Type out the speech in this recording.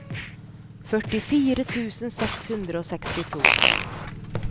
førtifire tusen seks hundre og sekstito